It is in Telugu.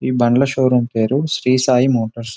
ఈ బండ్ల షోరూం పేరు శ్రీ సాయి మోటార్స్ .